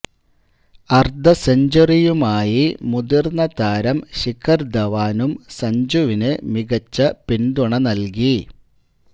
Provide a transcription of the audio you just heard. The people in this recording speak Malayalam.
അർധസെഞ്ചുറിയുമായി മുതിർന്ന താരം ശിഖർ ധവാനും സഞ്ജുവിന് മികച്ച പിന്തുണ നൽകി